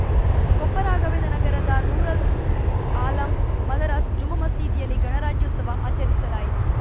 ಕೊಪ್ಪ ರಾಘವೇಂದ್ರ ನಗರದ ನೂರುಲ್‌ ಆಲಂ ಮದರಾಸ್ ಜುಮ್ಮಾ ಮಸೀದಿಯಲ್ಲಿ ಗಣರಾಜ್ಯೋತ್ಸವ ಆಚರಿಸಲಾಯಿತು